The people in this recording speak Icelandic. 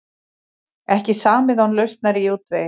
Ekki samið án lausnar í útvegi